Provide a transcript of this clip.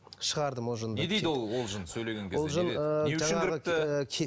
шығардым ол жынды не дейді ол ол жын сөйлеген кезде ол жын ыыы